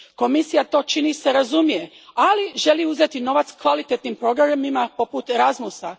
Komisija to, čini se, razumije, ali želi uzeti novac kvalitetnim programima poput Erasmusa.